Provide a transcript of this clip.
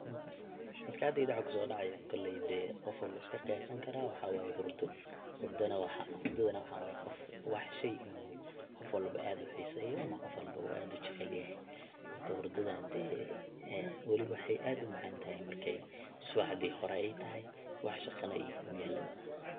Maskaxdheydha waxa kusodacaya koley dee, gofwalba wu iskaqiyasanikaraa, waxa waye hurdo, hurdana waxa, hurdadhana waxa wa shey oo gof walbo adh uhiseyo, ama gofwalba u adh ujecelyaxay, marka xurdadha dee, weliba waxay adh umacntaxay marki subaxdhi xore ay taxay, wax shaganax ay kuyalin.